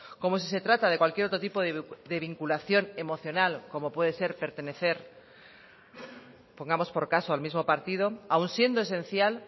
como si se trata de cualquier otro tipo de vinculación emocional como puede ser pertenecer pongamos por caso al mismo partido aun siendo esencial